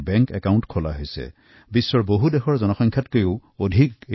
এই নতুন একাউণ্টধাৰী নাগৰিকৰ সংখ্যা বিশ্বৰ একাংশ দেশৰ জনসংখ্যাতকৈও অধিক